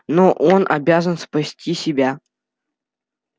но он обязан спасти себя